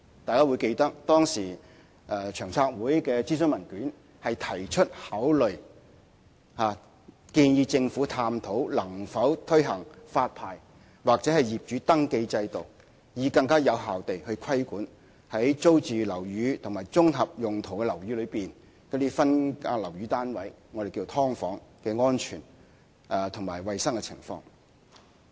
大家會記得，當時長遠房屋策略督導委員會的諮詢文件提出，考慮建議政府探討能否推行發牌或業主登記制度，以便更有效規管在租住樓宇和綜合用途樓宇內的分間樓宇單位的安全和衞生情況。